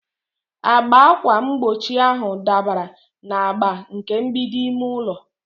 Agba ákwà mgbochi ahụ dabara na agba nke mgbidi ime ụlọ.